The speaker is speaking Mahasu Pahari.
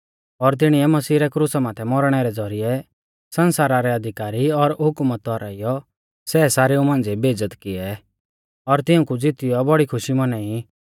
और तिणीऐ मसीही रै क्रुसा माथै मौरणै रै ज़ौरिऐ सण्सारा रै अधिकारी और हुकुमत हौराइयौ सै सारेऊ मांझ़िऐ बेइज़्ज़त किऐ और तिऊंकु ज़ीतीयौ बौड़ी खुशी मौनाई